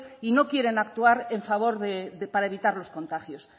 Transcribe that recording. y no quieren actuar en favor de para evitar los contagios